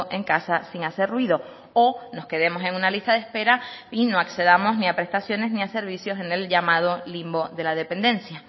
en casa sin hacer ruido o nos quedemos en una lista de espera y no accedamos ni a prestaciones ni a servicios en el llamado limbo de la dependencia